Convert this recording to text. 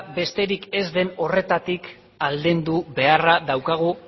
besterik ez den horretatik aldendu beharra daukagu